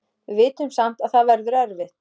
Við vitum samt að það verður erfitt.